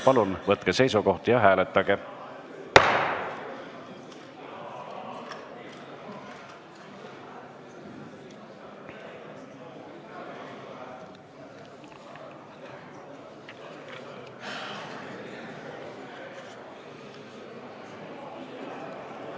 Palun võtke seisukoht ja hääletage!